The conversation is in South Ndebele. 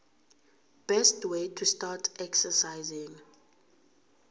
best way to start exercising